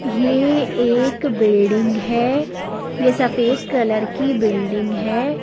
ये एक बिल्डिंग है ये सफेद कलर की बिल्डिंग है।